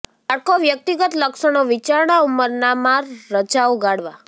બાળકો વ્યક્તિગત લક્ષણો વિચારણા ઉંમરના માં રજાઓ ગાળવા